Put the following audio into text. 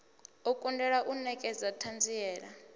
u kundelwa u nekedza thanziela